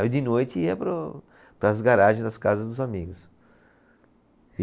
E de noite ia para o, para as garagens das casas dos amigos.